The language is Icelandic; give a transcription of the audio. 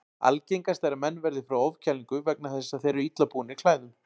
Algengast er að menn verði fyrir ofkælingu vegna þess að þeir eru illa búnir klæðum.